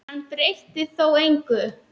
Hann breytti þó engu.